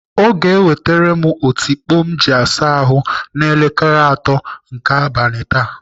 Ọ ga-ewetere m otikpo m ji asa ahụ n'elekere atọ nke abalị taa.